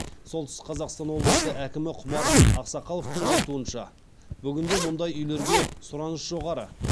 солтүстік қазақстан облысы әкімі құмар ақсақаловтың айтуынша бүгінде мұндай үйлерге сұраныс жоғары